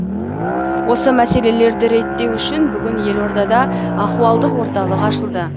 осы мәселелерді реттеу үшін бүгін елордада ахуалдық орталық ашылды